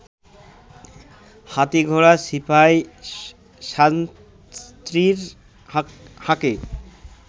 হাতী ঘোড়া সিপাই সান্ত্রীর হাঁকে